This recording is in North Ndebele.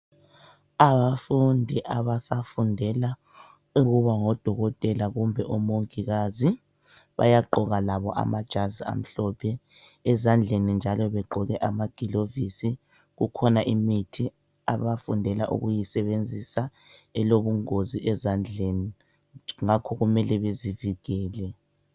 Abafundi abasafundela ukuba ngodokotela kumbe omongikazi bayagqoka labo amajazi amhlophe ezandleni njalo bagqoke amagilovisi ,kukhona imithi abafundela ukuyisebenzisa elobungozi ezandleni ngakho kumele bezivikele.